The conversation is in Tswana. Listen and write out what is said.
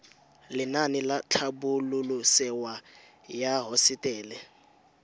lenaane la tlhabololosewa ya hosetele